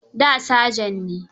Da saja ne.